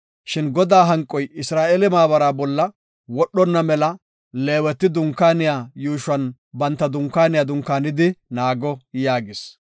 Shin Godaa hanqoy Isra7eele maabara bolla wodhonna mela Leeweti Dunkaaniya yuushuwan banta dunkaaniya dunkaanidi naago” yaagis.